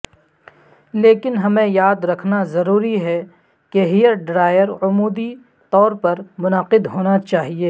لیکن ہمیں یاد رکھنا ضروری ہے کہ ہیئر ڈرائر عمودی طور پر منعقد ہونا چاہئے